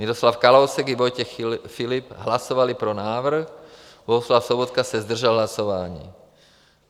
Miroslav Kalousek i Vojtěch Filip hlasovali pro návrh, Bohuslav Sobotka se zdržel hlasování.